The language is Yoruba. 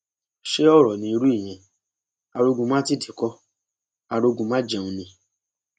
ṣe ọrọ ní irú ìyẹn arógunmátìdí kó arógunmájẹun ni